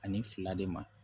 Ani fila de ma